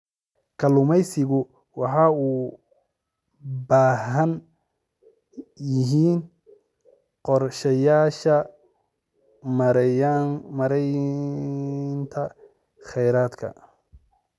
Kalluumaysigu waxay u baahan yihiin qorshayaasha maaraynta khayraadka.